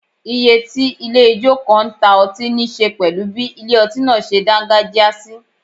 Ìyè tí ilé ijó kan ń ta ọtí níṣe pẹ̀lú bí ilé ọtí náà ṣe dágájíá sí